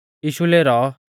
यीशु लेरौ